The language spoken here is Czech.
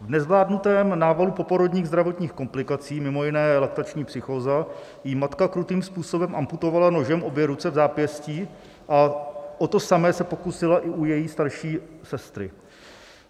V nezvládnutém návalu poporodních zdravotních komplikací - mimo jiné laktační psychóza - jí matka krutým způsobem amputovala nožem obě ruce v zápěstí a o to samé se pokusila i u její starší sestry.